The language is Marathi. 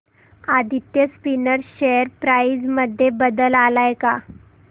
आदित्य स्पिनर्स शेअर प्राइस मध्ये बदल आलाय का